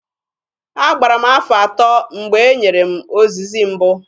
Agbara m afọ atọ mgbe e nyere m ozizi mbụ.